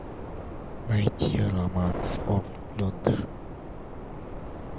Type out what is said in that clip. найти романс о влюбленных